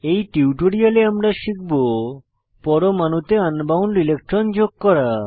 এই টিউটোরিয়ালে আমরা শিখব পরমাণুতে আন বাউন্ড ইলেকট্রন যোগ করা